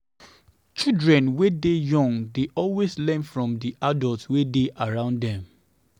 Children wey dey young dey always learn from di adult wey dey around them